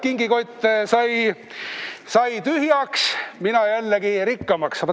Kingikott sai tühjaks, mina jällegi rikkamaks.